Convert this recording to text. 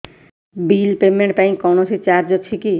bill payment ପାଇଁ କୌଣସି charge ଅଛି କି